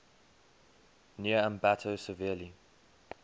near ambato severely